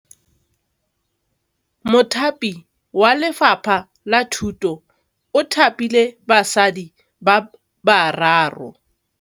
Mothapi wa Lefapha la Thutô o thapile basadi ba ba raro.